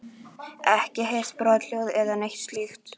Ekki heyrt brothljóð eða neitt slíkt?